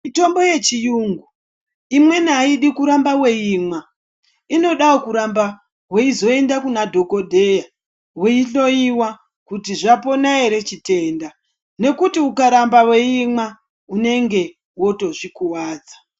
Mitombo yechiyungu imweni aidi kuramba weiimwa, inodawo kuramba weizoenda kuna dhokodheya weihloiwa kuti zvapona ere chitenda nekuti ukarambwa weimwa unenge wotozvikuwadza.